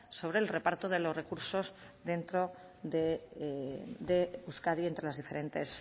sobre el reparto de los recursos dentro de euskadi entre las diferentes